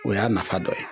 O y'a nafa dɔ ye